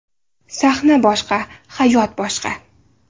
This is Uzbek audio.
Sahna boshqa, hayot boshqa.